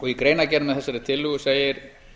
í greinargerð með þessari tillögu segir